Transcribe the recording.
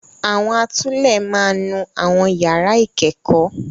Àwọn atulẹ̀ máa nú àwọn yàrá ìkẹ́kọ̀ọ́.